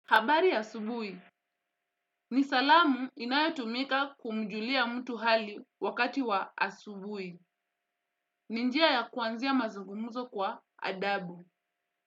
Habari ya asubuhi. Ni salamu inayotumika kumjulia mtu hali wakati wa asubuhi. Ni njia ya kuanzia mazungumzo kwa adabu.